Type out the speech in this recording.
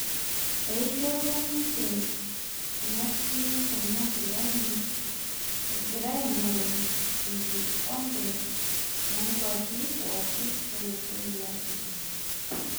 Eishop ninje enatimmkuna kilani egira aing'oru enkikope onkwapii pookin olosho liafirika.